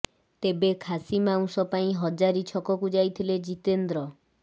ତେବେ ଖାସି ମାଉସ ପାଇଁ ହଜାରି ଛକକୁ ଯାଇଥିଲେ ଜିତେନ୍ଦ୍ର